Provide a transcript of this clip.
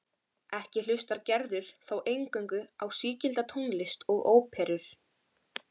Ekki hlustar Gerður þó eingöngu á sígilda tónlist og óperur.